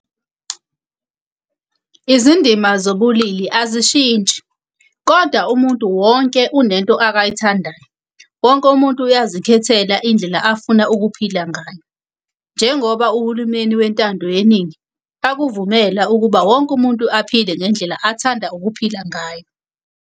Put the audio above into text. Izindima zobulili azishintshi, koda umuntu wonke unento akayithandayo. Wonke umuntu uyazikhethela indlela afuna ukuphila ngayo. Njengoba uhulumeni wentando yeningi akuvumela ukuba wonke umuntu aphile ngendlela athanda ukuphila ngayo.